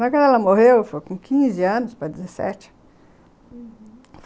Quando ela morreu, eu com quinze anos para dezessete, uhum.